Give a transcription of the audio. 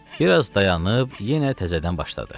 Bir az dayanıb, yenə təzədən başladı.